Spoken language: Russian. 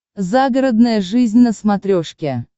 загородная жизнь на смотрешке